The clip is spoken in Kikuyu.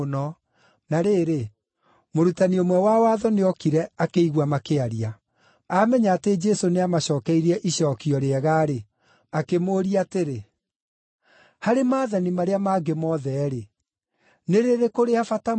Na rĩrĩ, mũrutani ũmwe wa watho nĩokire akĩigua makĩaria. Aamenya atĩ Jesũ nĩamacookeirie icookio rĩega-rĩ, akĩmũũria atĩrĩ, “Harĩ maathani marĩa mangĩ mothe-rĩ, nĩ rĩrĩkũ rĩa bata mũno?”